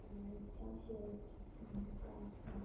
Reliance च्या share ची किंमत काय आहे